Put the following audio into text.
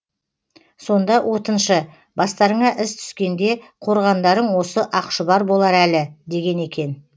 сонда отыншы бастарыңа іс түскенде қорғандарың осы ақшұбар болар әлі деген екен